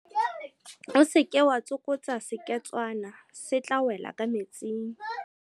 O se ke wa tsokotsa seketswana se tla wela ka metsing.